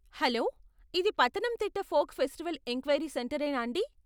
Hello ఇది Pathanamthitta folk festival inquiry centre ఏనా అండి?